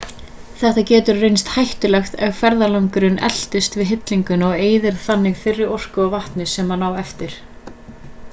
þetta getur reynst hættulegt ef ferðalangurinn eltist við hillinguna og eyðir þannig þeirri orku og vatni sem hann á eftir